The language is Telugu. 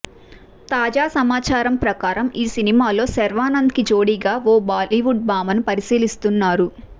తాజా సమాచారం ప్రకారం ఈ సినిమాలో శర్వానంద్ కి జోడీగా ఓ బాలీవుడ్ భామని పరిశీలిస్తున్నారు